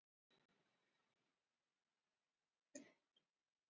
Píratar fá fjóra þingmenn kjörna.